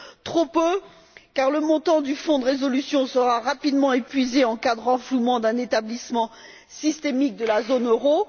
Trop peu, car le montant du Fonds de résolution sera rapidement épuisé en cas de renflouement d'un établissement d'importance systémique de la zone euro